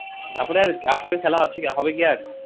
তারপরে আর RCB খেলা হচ্ছে কী হবে কী আর?